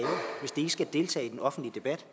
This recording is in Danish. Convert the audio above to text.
skal deltage i den offentlige debat